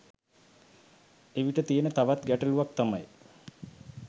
එවිට තියෙන තවත් ගැටළුවක් තමයි